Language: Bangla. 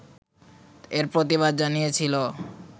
এর প্রতিবাদ জানিয়েছিল